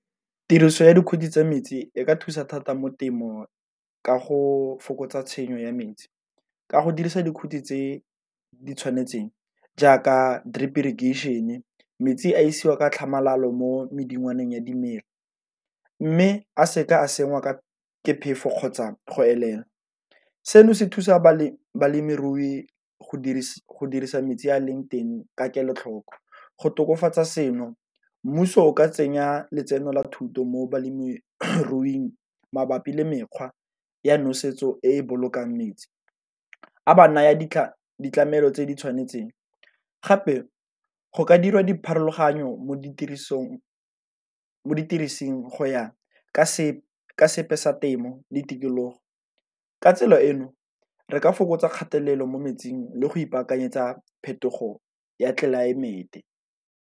Tiriso ya dikhuti tsa metsi e ka thusa thata mo temo ka go fokotsa tshenyo ya metsi, ka go dirisa dikhuti tse di tshwanetseng jaaka drip irrigation e metsi a isiwa ka tlhamalalo mo medingwana ya dimela. Mme a seka a sengwe ka ke phefo kgotsa go elela, seno se thusa balemirui go dirisa metsi a leng teng ka kelotlhoko. Go tokafatsa seno mmuso o ka tsenya letseno la thuto mo balemiruing mabapi le mekgwa ya nosetso e e bolokang metsi a ba naya ditlhare tse di tshwanetseng, gape go ka dira dipharologanyo mo ditirisong, mo ditekising go ya ka sepe sa temo ditikologo. Ka tsela eno re ka fokotsa kgatelelo mo metsing le go ipakanyetsa phetogo ya tlelaemete.